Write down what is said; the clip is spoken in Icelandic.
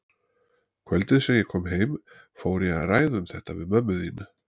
Kvöldið sem ég kom heim fór ég að ræða um þetta við mömmu þína.